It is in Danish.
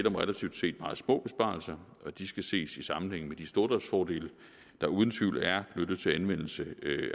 om relativt set meget små besparelser og de skal ses i sammenhæng med de stordriftsfordele der uden tvivl er knyttet til anvendelse